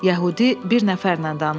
Yəhudi bir nəfərlə danışdı.